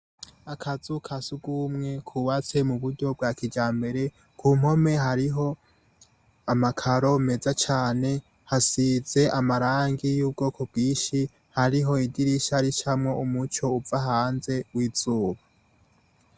Akazu ka sugumwe kubatse mu buryo bwa kijambere, ku mpome hariho amakaro meza cane, hasize amarangi y'ubwoko bwinshi, hariho idirisha ricamwo umuco uva hanze w'izuba.